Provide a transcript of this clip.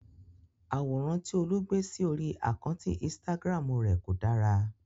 Àwòrán tí Olú gbé sí orí àkántì Instagram rè kò dára.